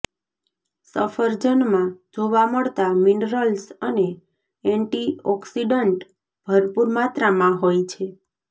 સફરજનમાં જોવા મળતા મિનરલ્સ અને એન્ટીઓક્સિડન્ટ ભરપૂર માત્રામાં હોય છે